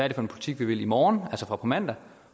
en butik vi vil i morgen altså fra på mandag